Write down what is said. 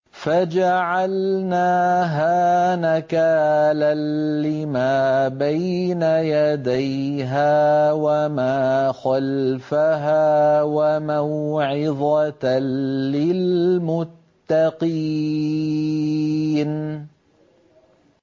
فَجَعَلْنَاهَا نَكَالًا لِّمَا بَيْنَ يَدَيْهَا وَمَا خَلْفَهَا وَمَوْعِظَةً لِّلْمُتَّقِينَ